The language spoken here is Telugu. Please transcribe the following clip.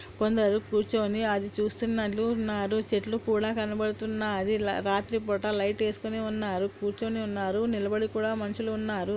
కొందరు కూర్చోని అది చూస్తున్నట్లు ఉన్నారు చెట్లు కూడా కనబడుతున్నాది ల రాత్రి పూట లైట్ వేసుకోని ఉన్నారు కూర్చోని ఉన్నారు నిలబడి కూడా మనుషులు ఉన్నారు.